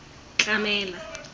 tlamela